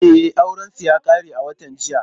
E, aurensu ya ƙare a watan jiya.